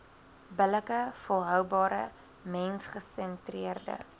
billike volhoubare mensgesentreerde